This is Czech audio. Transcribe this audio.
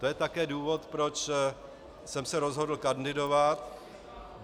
To je také důvod, proč jsem se rozhodl kandidovat.